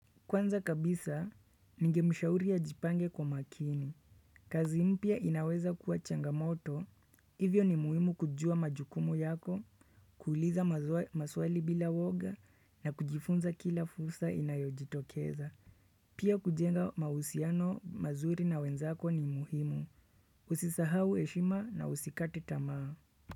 Kwanza kabisa, ningemshauri ajipange kwa makini. Kazi mpya inaweza kuwa changamoto, hivyo ni muhimu kujua majukumu yako, kuuliza maswali bila uoga na kujifunza kila fursa inayojitokeza. Pia kujenga mahusiano mazuri na wenzako ni muhimu. Usisahau heshima na usikate tamaa.